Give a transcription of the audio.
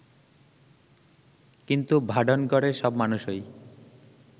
কিন্তু ভাডনগরের সব মানুষই